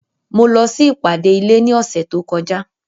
Mo lọ sí ìpàdé ilé ní ọ̀sẹ̀ tó kọjá.